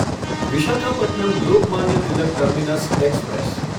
Visakhapatnam Lokmanya Tilak terminus express